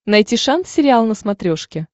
найти шант сериал на смотрешке